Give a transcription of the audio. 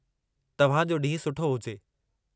तव्हां जो ॾींहुं सुठो हुजे!